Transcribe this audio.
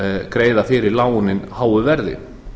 greiða fyrir lánin háu verði